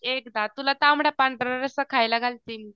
एकदा तुला तांबडा पांढरा रस्सा खायला घालते मी.